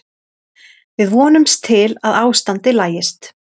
Við vonumst til að ástandið lagist.